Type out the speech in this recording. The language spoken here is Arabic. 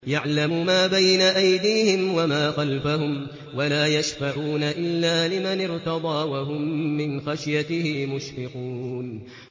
يَعْلَمُ مَا بَيْنَ أَيْدِيهِمْ وَمَا خَلْفَهُمْ وَلَا يَشْفَعُونَ إِلَّا لِمَنِ ارْتَضَىٰ وَهُم مِّنْ خَشْيَتِهِ مُشْفِقُونَ